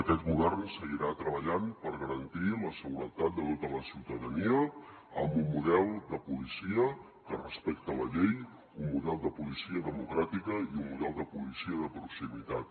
aquest govern seguirà treballant per garantir la seguretat de tota la ciutadania amb un model de policia que respecta la llei un model de policia democràtica i un model de policia de proximitat